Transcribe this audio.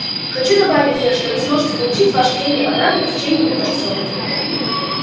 хочу добавить сэр что вы сможете получить ваши деньги обратно в течение двух часов